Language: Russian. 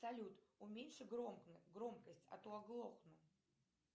салют уменьши громкость а то оглохну